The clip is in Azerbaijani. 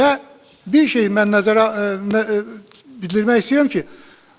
Və bir şeyi mən bildirmək istəyirəm ki,